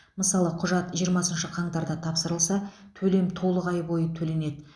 мысалы құжат жиырмасыншы қаңтарда тапсырылса төлем толық ай бойы төленеді